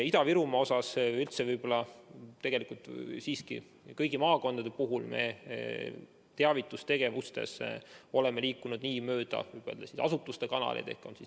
Ida-Virumaa osas võib-olla – tegelikult siiski kõigi maakondade puhul – me oleme teavitustegevustega liikunud mööda asutuste kanaleid.